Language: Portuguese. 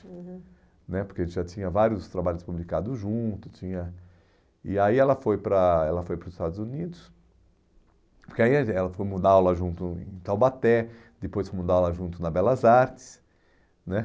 aham, né porque a gente já tinha vários trabalhos publicados juntos, tinha... E aí ela foi para ela foi para os Estados Unidos, porque aí fomos dar aula junto em Taubaté, depois fomos dar aula junto na Belas Artes, né?